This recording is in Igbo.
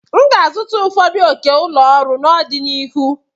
M ga-azụta ụfọdụ oke ụlọ ọrụ n'ọdịnihu.